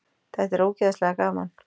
Þetta er ógeðslega gaman!